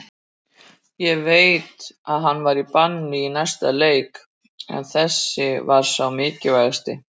Ég veit að hann er í banni í næsta leik en þessi var sá mikilvægasti.